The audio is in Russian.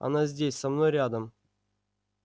она здесь со мной рядом